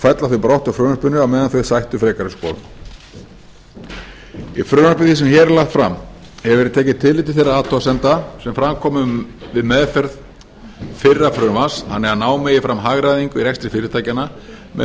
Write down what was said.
fella þau brott úr frumvarpinu á meðan þau sættu frekari skoðun í frumvarpi því sem hér er lagt fram hefur verið tekið tillit til þeirra athugasemda sem fram komu við meðferð fyrra frumvarps þannig að ná megi fram hagræðingu í rekstri fyrirtækjanna með